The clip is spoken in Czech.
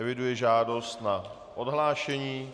Eviduji žádost na odhlášení.